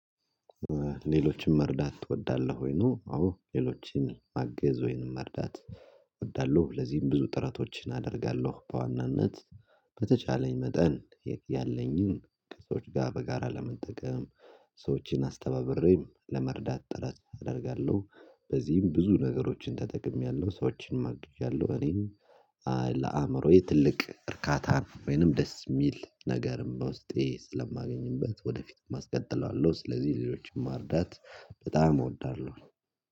ሌሎችን መርዳት ትወዳለህ ወይ ነው? አዎ ሌሎችን ማገዝ ወይንም መርዳት እወዳለሁ። ለዚህም ብዙ ጥረቶችን አደርጋለሁ በዋናነት በተቻለኝ መጠን ያለኝን ከሰዎች ጋር በጋራ ለመጠቀም ሰዎችን አስተባብሬም ለመርዳት ጥረት አደርጋለሁ። በዚህም ብዙ ነገሮችን ተጠቅሜያለሁ ሰዎችን አግዣለሁ። እኔም ለአእምሮዬ ትልቅ እርካታን ወይንም ደስ የሚል ነገርም በውስጤ ስለማገኝበት ወደፊትም አስቀጥለዋለሁ። ስለዚህ ሌሎችን ማርዳት በጣም እወዳለሁ።